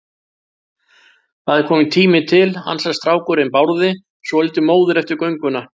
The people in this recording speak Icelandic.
Það er kominn tími til, ansar strákurinn Bárði, svolítið móður eftir gönguna.